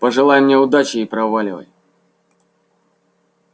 пожелай мне удачи и проваливай